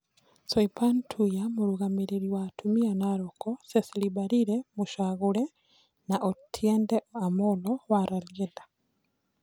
Soipan Tuya mũrũgamĩrĩri wa atumia Naroko. Cecily Mbarire (mũcagũre) na Otiende Amolo wa Rarieda.